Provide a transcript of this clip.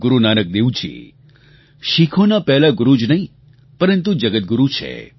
ગુરૂ નાનક દેવજી શીખોના પહેલા ગુરૂ જ નહીં પરંતુ જગદ્ગુરૂ છે